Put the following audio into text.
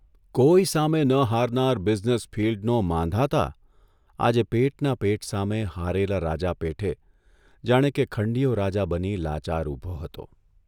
કોઇ સામે ન હારનાર બિઝનેસ ફિલ્ડનો માંધાતા આજે પેટના પેટ સામે હારેલા રાજા પેઠે જાણે કે ખંડિયો રાજા બની લાચાર ઊભો હતો !